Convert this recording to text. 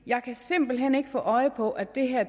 jeg kan simpelt hen ikke få øje på at det her